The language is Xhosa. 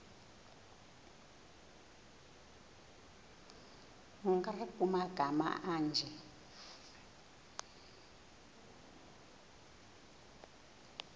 nkr kumagama anje